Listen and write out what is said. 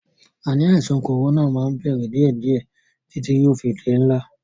Ànì àìsàn kòrónà máa ń bẹ̀rẹ̀ díẹ̀díè títí yóò fi di ńlá.